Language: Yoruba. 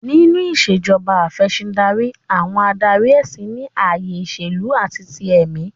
Nínú Ìṣèjọba Af'ẹ̀sìndarí, àwọn adarí ẹ̀sìn ní ayé ìṣèlú àti ti èmí